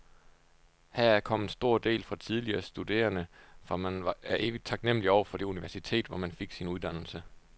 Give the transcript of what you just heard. Heraf kom en stor del fra tidligere studerende, for man er evigt taknemlig over for det universitet, hvor man fik sin uddannelse.